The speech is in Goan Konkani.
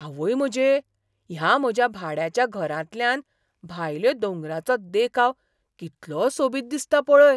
आवय म्हजे, ह्या म्हज्या भाड्याच्या घरांतल्यान भायल्यो दोंगरांचो देखाव कितलो सोबीत दिसता पळय.